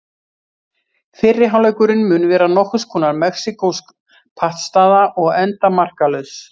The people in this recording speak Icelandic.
Fyrri hálfleikurinn mun vera nokkurs konar mexíkósk pattstaða og enda markalaus.